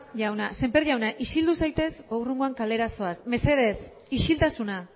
jauna semper jauna isildu zaitez edo hurrengoan kalera zoaz mesedez isiltasuna